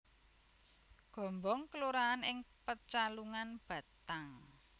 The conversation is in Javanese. Gombong kelurahan ing Pecalungan Batang